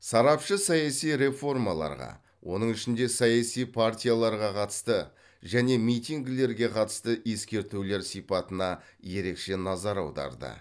сарапшы саяси реформаларға оның ішінде саяси партияларға қатысты және митингілерге қатысты ескертулер сипатына ерекше назар аударды